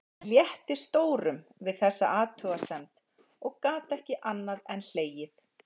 Mér létti stórum við þessa athugasemd og gat ekki annað en hlegið.